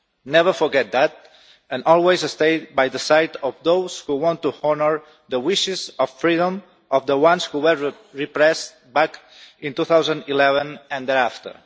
Never forget that, and always stay by the side of those who want to honour the wishes of freedom of the ones who were repressed back in 2011 and thereafter.